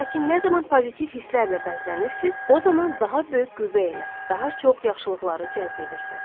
Lakin nə zaman pozitiv hisslərlə bəzlənirsiz, o zaman daha böyük qüvvə ilə daha çox yaxşılıqları cəzb edirsiz.